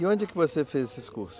E onde que você fez esses cursos?